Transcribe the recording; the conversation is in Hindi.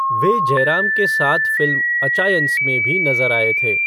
वे जयराम के साथ फ़िल्म अचायंस में भी नज़र आए थे।